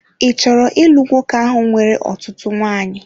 Ị chọrọ ịlụ nwoke ahụ nwere ọtụtụ nwanyị?